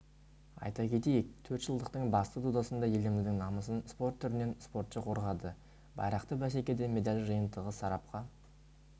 айта кетейік төртжылдықтың басты додасында еліміздің намысын спорт түрінен спортшы қорғады байрақты бәсекеде медаль жиынтығы сарапқа